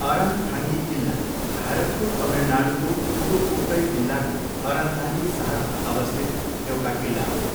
अरनथाङ्गी किल्ला भारतको तमिलनाडूको पुडुक्कोट्टई जिल्लाको अरनथाङ्गी सहरमा अवस्थित एउटा किल्ला हो।